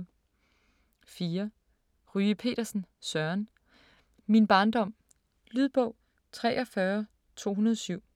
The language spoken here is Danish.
4. Ryge Petersen, Søren: Min barndom Lydbog 43207